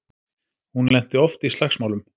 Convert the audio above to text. Hún lenti oft í slagsmálum.